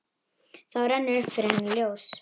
Þá rennur upp fyrir henni ljós.